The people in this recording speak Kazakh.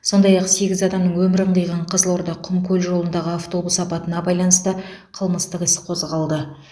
сондай ақ сегіз адамның өмірін қиған қызылорда құмкөл жолындағы автобус апатына байланысты қылмыстық іс қозғалды